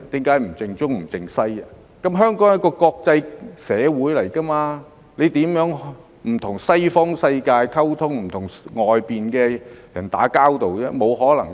因為香港是一個國際社會，如何能不跟西方世界溝通，不跟外面的人打交道呢？